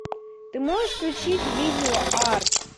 ты можешь включить видео арт